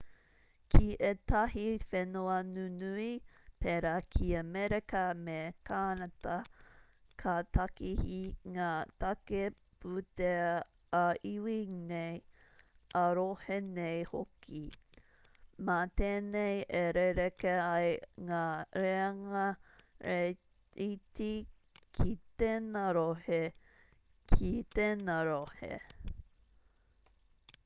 ki ētahi whenua nunui pēra ki amerika me kānata ka tākehi ngā tāke-pūtea ā-iwi nei ā-rohe nei hoki mā tēnei e rerekē ai ngā reanga reiti ki tēnā rohe ki tēnā rohe